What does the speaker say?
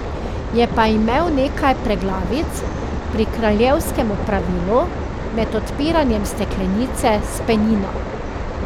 Je pa imel nekaj preglavic pri kraljevskem opravilu, med odpiranjem steklenice s penino.